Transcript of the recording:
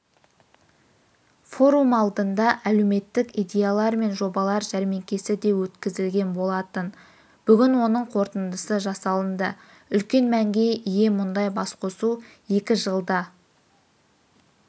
форум алдында әлеуметтік идеялар мен жобалар жәрмеңкесі де өткізілген болатын бүгін оның қорытындысы жасалынды үлкен мәнге ие мұндай басқосу екі жылда